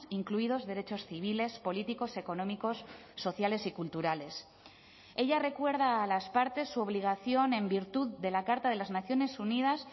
incluidos derechos civiles políticos económicos sociales y culturales ella recuerda a las partes su obligación en virtud de la carta de las naciones unidas